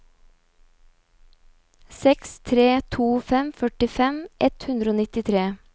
seks tre to fem førtifem ett hundre og nittitre